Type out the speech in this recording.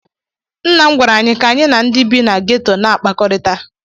Nna m gwara anyị ka anyị na ndị bi na geto na-akpakọrịta